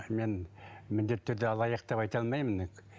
мен міндетті түрде алаяқ деп айта алмаймын енді